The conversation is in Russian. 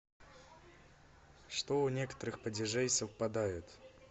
что у некоторых падежей совпадают